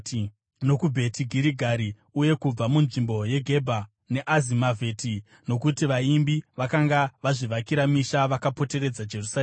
nokuBheti Girigari uye kubva munzvimbo yeGebha neAzimavheti, nokuti vaimbi vakanga vazvivakira misha vakapoteredza Jerusarema.